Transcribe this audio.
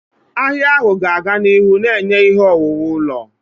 Ahịa ahụ ga-aga n'ihu na-enye ihe owuwu ụlọ.